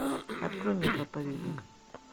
открой мне проповедник